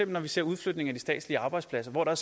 når vi ser udflytning af de statslige arbejdspladser hvor der